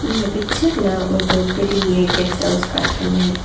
இந்த பிச்சர்ல ஒருத்தர் பெரிய கெஸ்ட் ஹவுஸ் காட்றாங்க.